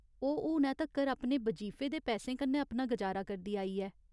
ओह् हुनै तक्कर अपने बजीफे दे पैसें कन्नै अपना गुजारा करदी आई ऐ।